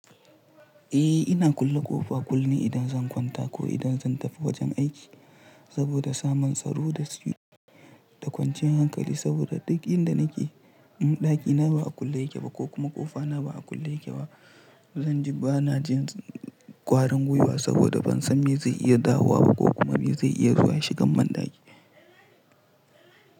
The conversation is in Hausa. Eh! Ina kulle ƙofa kullum ne idan zan kwanta ko idan zan tafi wajen aiki saboda samun tsaro da su da kwanciyar hankali saboda duk inda nake, ɗaki na ba a kulle yake ba ko kuma ƙofa na ba a kulle yake ba. Zanje bana jin ƙwarin gwiwa saboda ban san me zai iya dawowa ba ko kuma me zai iya zuwa shigan banɗaki.